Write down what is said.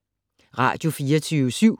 Radio24syv